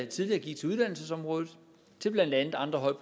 tidligere gik til uddannelsesområdet til blandt andet andre højt